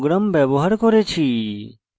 sample programs ব্যবহার করেছি